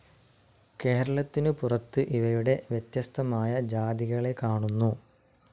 കേരളത്തിനു പുറത്ത് ഇവയുടെ വ്യത്യസ്തമായ ജാതികളെ കാണുന്നു.